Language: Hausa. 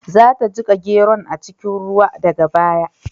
Za ta jiƙa geron a cikin ruwa daga baya.